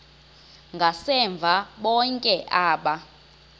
ngasemva bonke aba